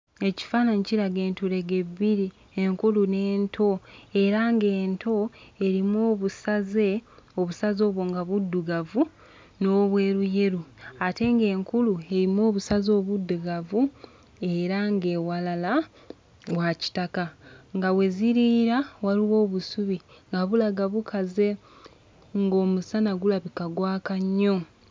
Ekifaananyi kiraga entulege bbiri enkulu n'ento era nga ento erimu obusaze obusaze obwo nga buddugavu n'obweruyeru ate nga enkulu erimu obusaze obuddugavu era ng'ewalala wa kitaka nga we ziriira waliwo obusubi nga bulaga bukaze ng'omusana gulabika gwaka nnyo.